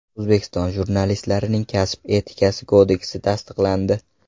O‘zbekiston jurnalistlarining kasb etikasi kodeksi tasdiqlandi.